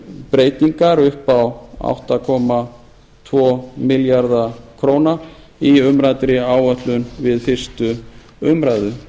breytingar upp á átta komma tvo milljarða króna í umræddri áætlun við fyrstu umræðu